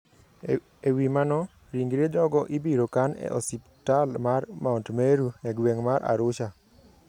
E wi mano, ringre jogo ibiro kan e osiptal mar Mount Meru, e gweng ' mar Arusha.